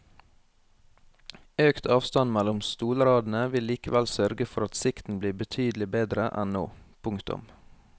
Økt avstand mellom stolradene vil likevel sørge for at sikten blir betydelig bedre enn nå. punktum